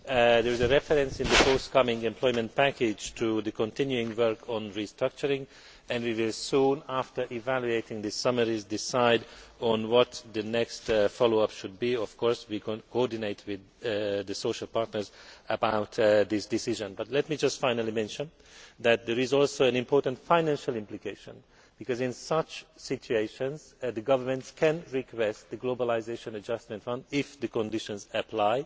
There was a reference in the forthcoming employment package to the continuing work on restructuring and we will soon after evaluating these summaries decide on what the next follow up should be. We will, of course, coordinate with the social partners about this decision, but let me just finally mention that there is also an important financial implication because in such situations the governments can request the Globalisation Adjustment Fund if the conditions apply.